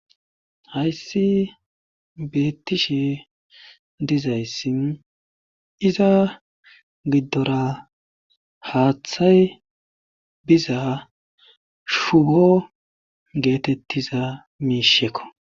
Hayssi beettishe dizayssin iza giddora haaththay biza shubo geetettiza miishekko.